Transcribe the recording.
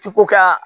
Ti ko ka